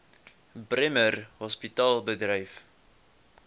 bremer hospitaal bedryf